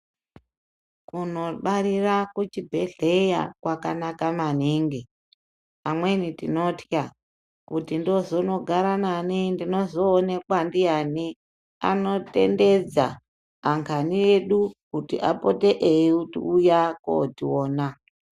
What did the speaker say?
Kunobarira kuchibhedhlera, kwakanaka maningi. Amweni tinotya kuti ndozonogara nani, ndinozowonekwa ndiyani, anotendedza angani edu kuti apote eyiwuya kotiwona.